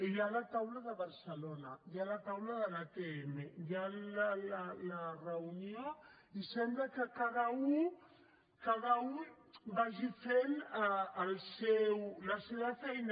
hi ha la taula de barcelona hi ha la taula de l’atm hi ha la reunió i sembla que cada u vagi fent la seva feina